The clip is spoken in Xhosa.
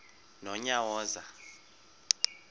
nonyawoza